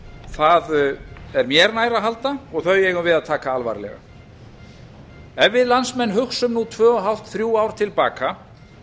það er mér nær að halda og þau eigum við að taka alvarlega ef við landsmenn hugsum nú tvö og hálft þrjú ár til baka